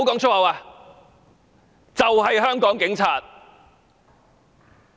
這就是香港警察。